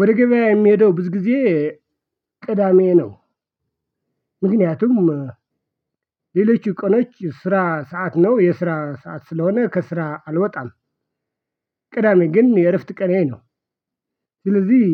ወደ ገበያ የምሄደው ብዙ ጊዜ ቅዳሜ ነው። ምክንያቱም ሌሎች ቀኖች ስራ ሰዓት ነው የስራ ሰዓት ስለሆነ ከስራ አልወጣም። ቅዳሜ ግን የእረፍት ቀኔ ነው። ስለዚህ